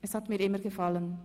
es hat mir immer gefallen.